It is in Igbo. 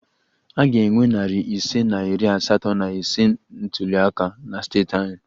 A ga-enwe narị ise na iri asatọ na ise ntuli aka na steeti anyị